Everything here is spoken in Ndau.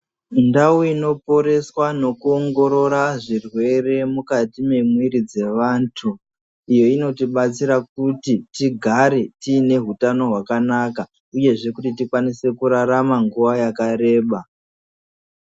Ndau inoporeswa nekuongorora zvirwere mukati memwiri dzevantu, iyo inotibatsira kuti tigare tine hutano hwakanaka uyezve tikwanise kurarama nguwa yakareba